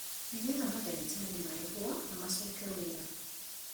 Nĩgetha mandagĩtarĩ marĩhwo na macoke wĩra